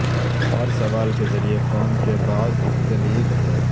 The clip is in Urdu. ہر سوال کے ذریعے فارم کے بعد کلید ہے